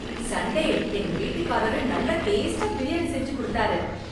Sunday எங்க வீட்டுக்காரு நல்லா டேஸ்டா பிரியாணி செஞ்சு கொடுத்தாரு.